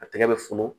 A tɛgɛ bɛ funu